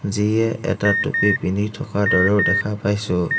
যিয়ে এটা টুপী পিন্ধি থকা দৰেও দেখা পাইছোঁ।